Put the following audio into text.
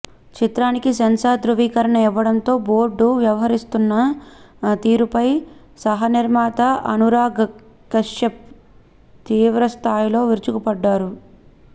చిత్రానికి సెన్సార్ ధ్రువీకరణ ఇవ్వడంతో బోర్డు వ్యవహరిస్తున్న తీరుపై సహానిర్మాత అనురాగ్ కశ్యప్ తీవ్రస్థాయిలో విరుచుకుపడ్డారు